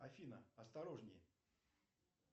афина осторожнее